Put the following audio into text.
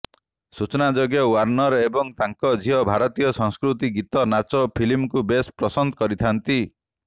ସୂଚନାଯୋଗ୍ୟ ୱାର୍ଣ୍ଣର ଏବଂ ତାଙ୍କ ଝିଅ ଭାରତୀୟ ସଂସ୍କୃତି ଗୀତ ନାଚ ଓ ଫିଲ୍ମକୁ ବେଶ୍ ପସନ୍ଦ କରିଥାନ୍ତି